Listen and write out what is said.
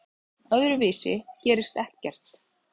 Öðruvísi gerist ekkert.